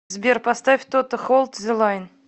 сбер поставь тото холд зе лайн